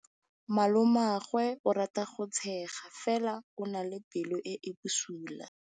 Malomagwe o rata go tshega fela o na le pelo e e bosula.